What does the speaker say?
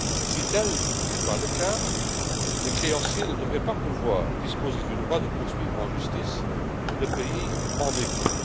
Si tel n'est pas le cas, le créancier ne devrait pas pouvoir disposer du droit de poursuivre en justice le pays en défaut.